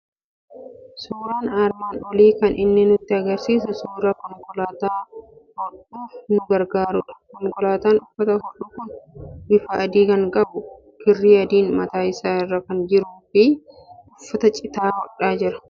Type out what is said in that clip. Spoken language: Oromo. Suuraan armaan olii kan inni nutti argisiisu suuraa konkolaataa hodhuuf nu gargaarudha. Konkolaataan uffata hodhu kun bifa adii kan qabu, kirrii adiin mataa isaa irra kan jiruu fi uffata cite hodha.